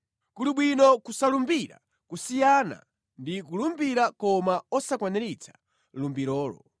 Kuli bwino kusalumbira kusiyana ndi kulumbira koma osakwaniritsa lumbirolo.